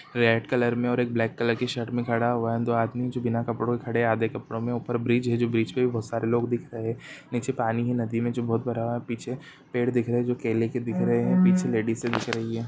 Red colour में और एक ब्लेक कलर की शर्ट में खड़ा हुआ है एंड दो आदमी जो बिना कपड़ो के खड़े है आधे कपड़ो में ऊपर ब्रिज है जो ब्रिज पे भी बहुत सारे लोग दिख रहे है नीचे पानी है नदी में जो बहुत भरा हुआ है पीछे पेड़ दिख रहे है जो केले के दिख रहे है पीछे लेडिसे दिख रही है।